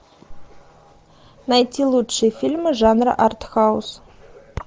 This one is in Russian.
найти лучшие фильмы жанра артхаус